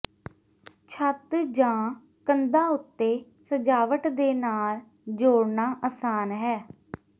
ਛੱਤ ਜਾਂ ਕੰਧਾਂ ਉੱਤੇ ਸਜਾਵਟ ਦੇ ਨਾਲ ਜੋੜਨਾ ਆਸਾਨ ਹੈ